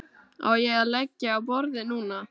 Á ég að leggja á borðið núna?